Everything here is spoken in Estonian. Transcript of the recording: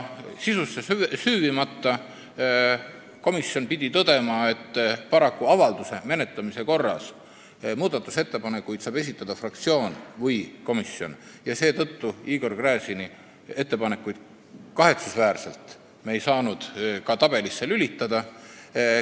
Sisusse süüvimata pidi komisjon tõdema, et paraku saab avalduse menetlemise korra kohta muudatusettepanekuid esitada fraktsioon või komisjon, seetõttu me ei saanud kahetsusväärselt Igor Gräzini ettepanekuid tabelisse lisada.